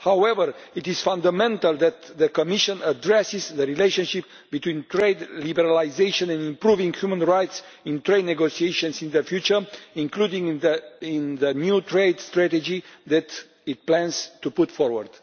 However, it is fundamental that the Commission address the relationship between trade liberalisation and improving human rights in trade negotiations in the future, including in the new trade strategy that it plans to put forward.